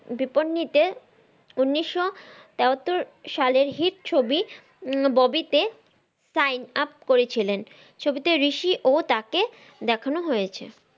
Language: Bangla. দিপন্নিত এর উনিশশো তেয়াত্তর সালের হিট ছবি ববি তে sign up করেছিলেন ছবিতে ঋষির ওহ তাকে দেখান হয়েছে।